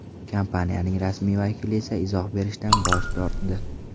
Kompaniyaning rasmiy vakili esa izoh berishdan bosh tortdi.